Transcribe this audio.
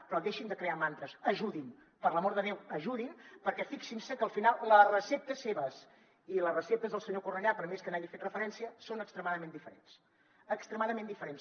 però deixin de crear mantres ajudin per l’amor de déu ajudin perquè fixin se que al final les receptes seves i les receptes del senyor cornellà per més que hi hagi fet referència són extremadament diferents extremadament diferents